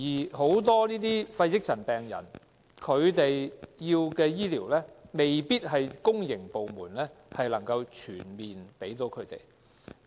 但很多肺積塵病人需要的醫療服務，未必是公營部門能夠全面提供的。